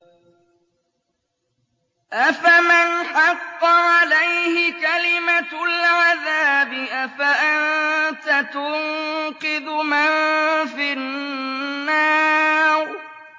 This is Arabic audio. أَفَمَنْ حَقَّ عَلَيْهِ كَلِمَةُ الْعَذَابِ أَفَأَنتَ تُنقِذُ مَن فِي النَّارِ